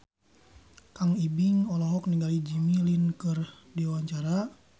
Kang Ibing olohok ningali Jimmy Lin keur diwawancara